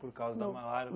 Por causa da malária?